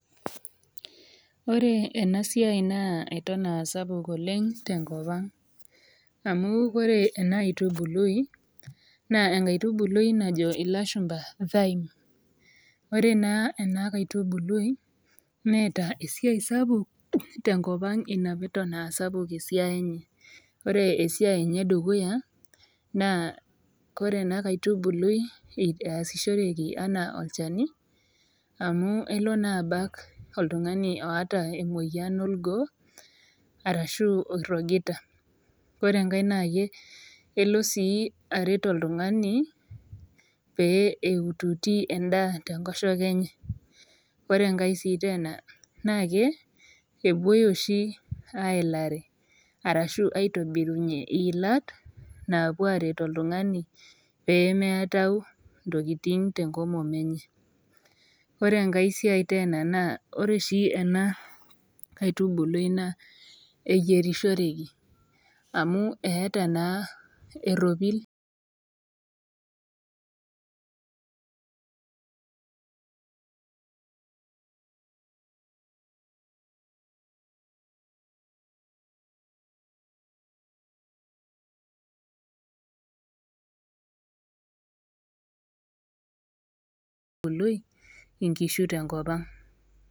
Ore enasiai naa eton aasapuk oleng tenkopang amu ore ena aitubului naa enkaitubului najo ilashumba thine . Ore naa enaitubului neeta esiai sapuk tenkopang inapeton aasapuk esiai enye . Ore esiai enye edukuya naa ore ena aitubului naa easishoreki anaa olchani amu elo naa abak oltungani oota emoyiani orgoo arashu oirokita . Ore enkae naa elo sii aret oltungani pee eututi endaa tenkoshoke enye. Ore sii enkae tena na ke epuoi oshi aelare ashu aitobirunyie ilat napuo aret oltungani pemeatau ntokitin tenkomom enye . Ore enkae tena naa ore oshi ena aitubului naa eyirishoreki amu eeta naa eropil aitubului enkishui tenkopang.